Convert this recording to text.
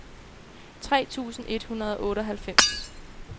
tre tusind et hundrede og otteoghalvfems